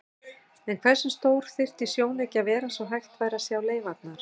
En hversu stór þyrfti sjónauki að vera svo hægt væri að sjá leifarnar?